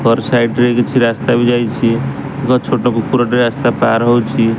କର୍ ସାଇଡ ରେ କିଛି ରାସ୍ତା ବି ଯାଇଛି ଏକ ଛୋଟ କୁକୁରଟେ ରାସ୍ତା ପାର ହଉଛି।